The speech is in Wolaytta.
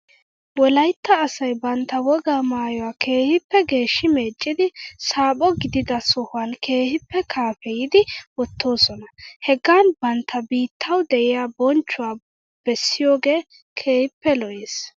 Wolaytta asay bantta wogaa maayuwaa keehippe geeshshi meeccidi saaphpho gidida sohuwan keehippe kaafeyidi wottoosona. Hegan bantta biittaw de'iyaa bonchchuwaa bessiyoogee keehippe lo'es.